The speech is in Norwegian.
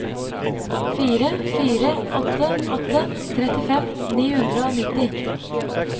fire fire åtte åtte trettifem ni hundre og nitti